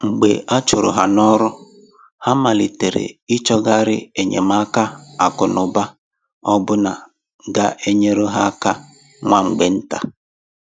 Mgbe a chụrụ ha n’ọrụ, ha malitere i chọghari enyemaka akụ́ na ụ̀ba ọbụna ga enyere ha áká nwa mgbe ntà.